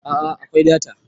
a a akwai data